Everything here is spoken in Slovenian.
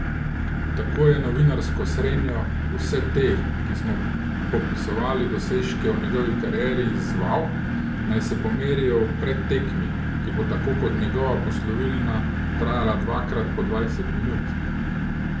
Tako je novinarsko srenjo, vse te, ki smo popisovali dosežke v njegovi karieri, izzval, naj se pomerijo v predtekmi, ki bo tako kot njegova poslovilna trajala dvakrat po dvajset minut.